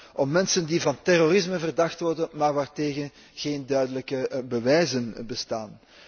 Het gaat om mensen die van terrorisme verdacht worden, maar waartegen geen duidelijke bewijzen bestaan.